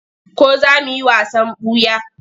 Ko za mu yi wasan ɓuya?